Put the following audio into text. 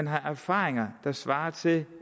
har erfaringer der svarer til